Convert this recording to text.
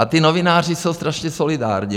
A ti novináři jsou strašně solidární.